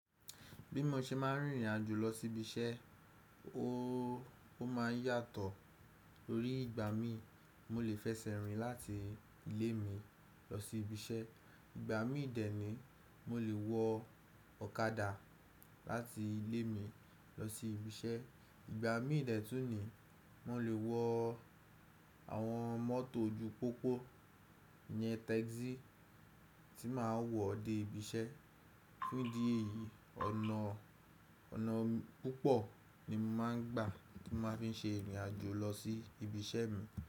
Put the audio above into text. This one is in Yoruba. Bí mo ṣe máa ń rìnrìn àjò lọ sí ibi iṣẹ́, o ó máa ń yàtọ̀. Tórí ìgbà mí, mo lè fẹsẹ̀ rìn láti ilé mi lọ sí ibi iṣẹ́. Ìgbà mí dẹ ni mo lè wọ ọ̀kadà láti ilé mi lọ sí ibi iṣẹ́. Ìgbà mí dẹ̀tún ni mo lè wọ àwọn mọ́tò ojú pópó iyẹn táxì tí màá wọ̀ dé ibi iṣẹ́. Fún di èyí, ọ̀nà, ọ̀nà púpọ̀ ni mo máa ń gbà tí màá fi ń ṣe ìrìn àjò lọ sí ibi iṣẹ́ mi.